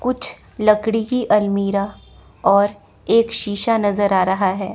कुछ लकड़ी की अलमीरा और एक शीशा नजर आ रहा है।